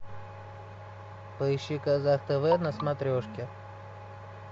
поищи казах тв на смотрежке